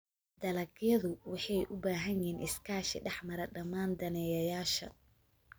Dalagyadu waxay u baahan yihiin iskaashi dhex mara dhammaan daneeyayaasha.